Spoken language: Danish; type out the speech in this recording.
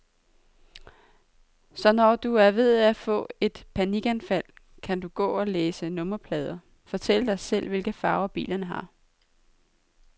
Så når du er ved at få et panikanfald, kan du gå og læse nummerplader, fortælle dig selv, hvilke farver bilerne har.